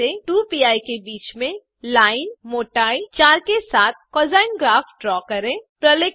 2pi से 2पी के बीच में लाइन मोटाई 4के साथ कोसाइन ग्राफ ड्रा करें 2